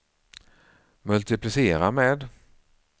multiplicera med